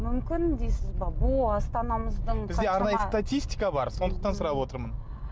мүмкін дейсіз бе бұл астанамыздың бізде арнайы статистика бар сондықтан сұрап отырмын